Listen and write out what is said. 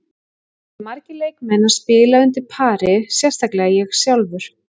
Það voru margir leikmenn að spila undir pari, sérstaklega ég sjálfur.